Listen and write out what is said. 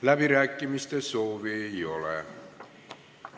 Läbirääkimiste soovi ei ole.